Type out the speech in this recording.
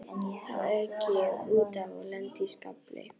Þá ek ég út af og lendi í skafli.